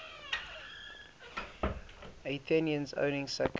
athenians owning second